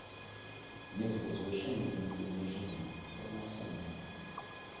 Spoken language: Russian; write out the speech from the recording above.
нет возвышения нет унижения равноценная